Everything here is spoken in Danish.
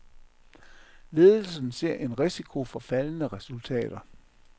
Ledelsen ser en risiko for faldende resultater.